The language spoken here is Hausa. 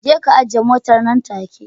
Jeka ka ajiye motar nan take